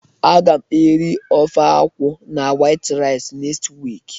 a ga m eri ofe akwu na white rice next week